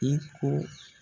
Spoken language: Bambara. I ko